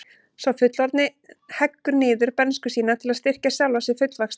Sá fullorðni heggur niður bernsku sína til að styrkja sjálfan sig fullvaxta.